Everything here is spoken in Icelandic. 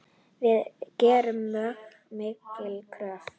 Við gerum mjög miklar kröfur.